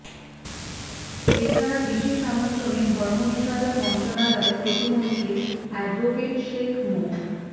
এছাড়া বিশেষ আমন্ত্রণে ধর্ম বিষয়ক মন্ত্রণালয়ের প্রতিমন্ত্রী অ্যাডভোকেট শেখ মো